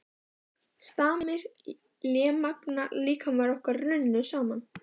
Stamir og lémagna líkamir okkar runnu saman.